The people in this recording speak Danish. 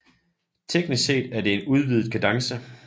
Teknisk set er det en udvidet kadence